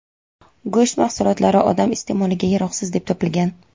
go‘sht mahsulotlari odam iste’moliga yaroqsiz deb topilgan.